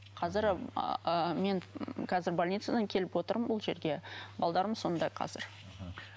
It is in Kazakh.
қазір ыыы мен қазір больницадан келіп отырмын бұл жерге балаларым сонда қазір мхм